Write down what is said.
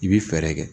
I bi fɛɛrɛ kɛ